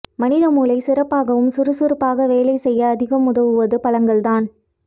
மனித மூளை சிறப்பாகவும் சுறுசுறுப்பாக வேலை செய்ய அதிகம் உதவுவது பழங்கள்தான்